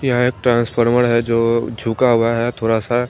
यह एक ट्रांसफार्मर है जो झुका हुआ है थोड़ा सा--